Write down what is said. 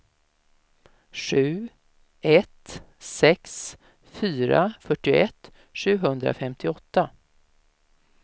sju ett sex fyra fyrtioett sjuhundrafemtioåtta